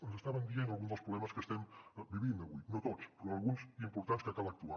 ens estaven dient alguns dels problemes que estem vivint avui no tots però alguns d’importants en que cal actuar